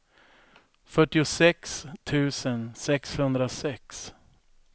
fyrtiosex tusen sexhundrasex